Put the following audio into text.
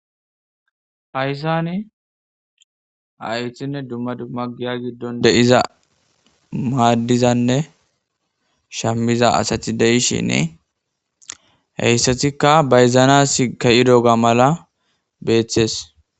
haysani haythinne dumma dumma giya giddon de7iza maaddizanne shammiza asati deishin heyssatikka bayzanas ke7i doga mala beeththees